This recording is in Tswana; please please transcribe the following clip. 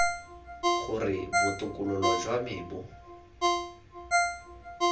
gore botokololo jwa me bo